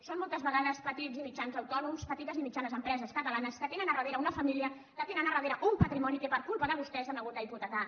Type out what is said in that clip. són moltes vegades petits i mitjans autònoms petites i mitjanes empreses catalanes que tenen al darrere una família que tenen al darrere un patrimoni que per culpa de vostès s’han hagut d’hipotecar